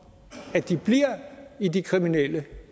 at de bliver i de kriminelle